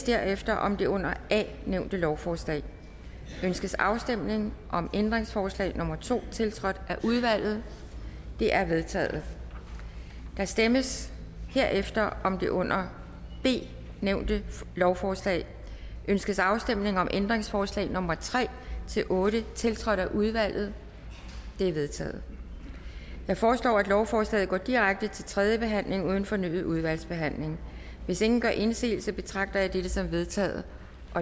derefter om det under a nævnte lovforslag ønskes afstemning om ændringsforslag nummer to tiltrådt af udvalget det er vedtaget der stemmes herefter om det under b nævnte lovforslag ønskes afstemning om ændringsforslag nummer tre otte tiltrådt af udvalget de er vedtaget jeg foreslår at lovforslaget går direkte til tredje behandling uden fornyet udvalgsbehandling hvis ingen gør indsigelse betragter jeg det som vedtaget